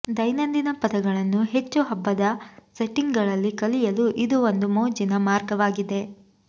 ದೈನಂದಿನ ಪದಗಳನ್ನು ಹೆಚ್ಚು ಹಬ್ಬದ ಸೆಟ್ಟಿಂಗ್ಗಳಲ್ಲಿ ಕಲಿಯಲು ಇದು ಒಂದು ಮೋಜಿನ ಮಾರ್ಗವಾಗಿದೆ